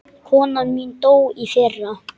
Konan mín dó í fyrra.